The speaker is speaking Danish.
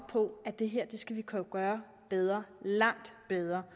på at det her skal vi kunne gøre bedre langt bedre